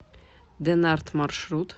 денарт маршрут